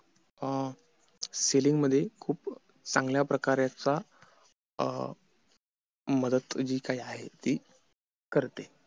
अं selling मध्ये खूप चांगल्या प्रकारचा मदत जी काही आहे ते करते